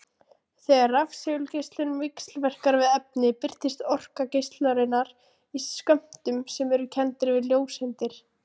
Þegar rafsegulgeislun víxlverkar við efni birtist orka geislunarinnar í skömmtum sem eru kenndir við ljóseindir.